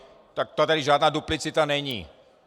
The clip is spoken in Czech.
Tak tady žádná duplicita není.